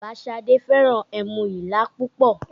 Bàbá Șadé fẹ́ràn ẹmu Ìlá púpọ̀